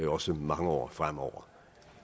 også mange år fremover